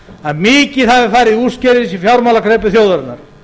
að mikið hafi farið úrskeiðis í fjármálakreppu þjóðarinnar